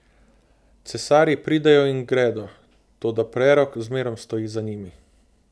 Cesarji pridejo in gredo, toda prerok zmerom stoji za njimi.